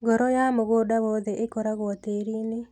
Ngoro ya mũgũnda wothe ikoragwo tĩrini.